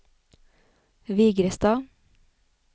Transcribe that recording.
Vigrestad